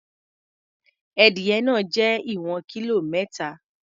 Edìyẹ náà jẹ́ ìwọ̀n kílò mẹ́ta.